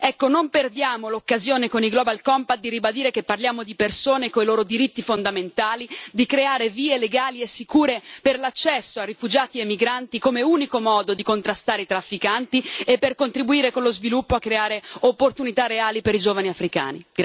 Ecco non perdiamo l'occasione con i global compact di ribadire che parliamo di persone con i loro diritti fondamentali, di creare vie legali e sicure per l'accesso a rifugiati e migranti come unico modo di contrastare i trafficanti e per contribuire, con lo sviluppo, a creare opportunità reali per i giovani africani.